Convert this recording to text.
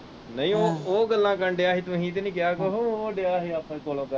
ਨਹੀਂ ਉਹ ਉਹ ਗੱਲਾਂ ਕਰਨ ਦਿਆ ਹੀ ਤੁਹੀ ਤੇ ਨਹੀਂ ਕਹਿਆ ਕੁਛ ਉਹ ਦਿਆ ਆਪਣੇ ਕੋਲੋਂ ਕਰਨ।